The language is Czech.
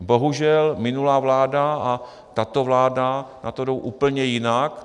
Bohužel minulá vláda a tato vláda na to jdou úplně jinak.